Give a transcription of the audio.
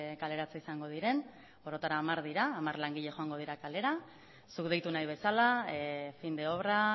kaleratze izango diren orotara hamar dira hamar langile joango dira kalera zuk deitu nahi bezala fin de obra